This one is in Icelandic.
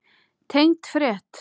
Tengd frétt